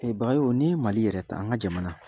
Bagayogo ni ye Mali yɛrɛ ta, an ka jamana